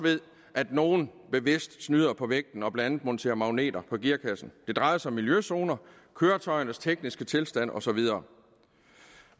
at nogle bevidst snyder på vægten og blandt andet monterer magneter på gearkassen det drejer sig om miljøzoner køretøjernes tekniske tilstand og så videre